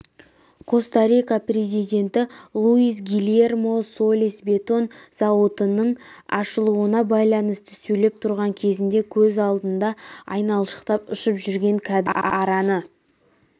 коста-рика президенті луис гильермо солис бетон зауытының ашылуына байланысты сөйлеп тұрған кезінде көз алдында айналшықтап ұшып жүрген кәдімгі араны